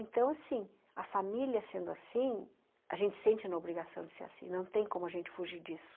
Então, assim, a família sendo assim, a gente sente uma obrigação de ser assim, não tem como a gente fugir disso.